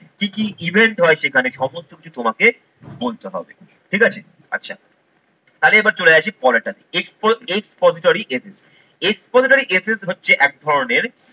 কি কি event হয় সেখানে সমস্ত কিছু তোমাকে বলতে হবে ঠিক আছে। আচ্ছা, তাহলে এবার চলে আসি পরের টাতে। expository essay, expository essay হচ্ছে এক ধরনের